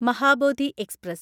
Mahabodhi express